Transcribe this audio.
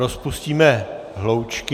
Rozpustíme hloučky.